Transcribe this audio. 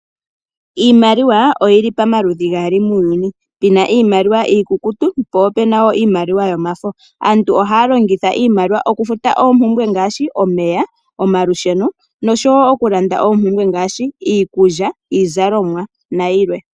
Iimaliwa oyi li pamaludhi gaali muuyuni ngaashi pena iimaliwa iikukutu, po opena wo iimaliwa yomafo. Aantu ohaya longitha iimaliwa oku futa oompumbwe ngaashi: omeya, omalusheno nosho woo okulanda oompumbwe ngaashi: iikulya, iizalomwa na yilwe.